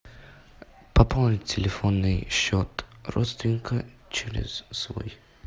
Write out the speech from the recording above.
пополнить телефонный счет родственника через свой